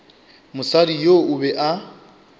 mosadi yoo o be a